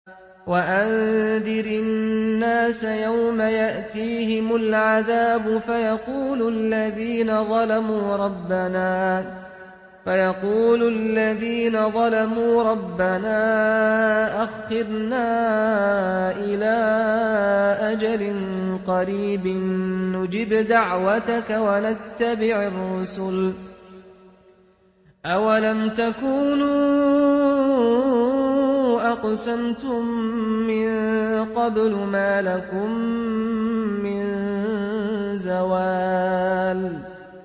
وَأَنذِرِ النَّاسَ يَوْمَ يَأْتِيهِمُ الْعَذَابُ فَيَقُولُ الَّذِينَ ظَلَمُوا رَبَّنَا أَخِّرْنَا إِلَىٰ أَجَلٍ قَرِيبٍ نُّجِبْ دَعْوَتَكَ وَنَتَّبِعِ الرُّسُلَ ۗ أَوَلَمْ تَكُونُوا أَقْسَمْتُم مِّن قَبْلُ مَا لَكُم مِّن زَوَالٍ